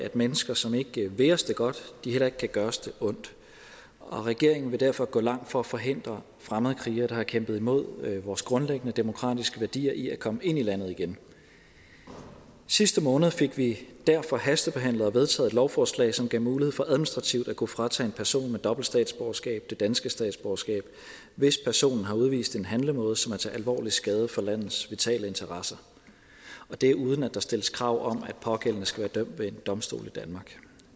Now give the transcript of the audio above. at mennesker som ikke vil os det godt heller ikke kan gøre os det ondt og regeringen vil derfor gå langt for at forhindre fremmedkrigere der har kæmpet imod vores grundlæggende demokratiske værdier i at komme ind i landet igen sidste måned fik vi derfor hastebehandlet og vedtaget et lovforslag som gav mulighed for administrativt at kunne fratage en person med dobbelt statsborgerskab det danske statsborgerskab hvis personen har udvist en handlemåde som er til alvorlig skade for landets vitale interesser og det er uden at der stilles krav om at pågældende skal være dømt ved en domstol i danmark